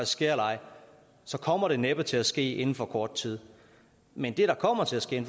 sker eller ej kommer det næppe til at ske inden for kort tid men det der kommer til at ske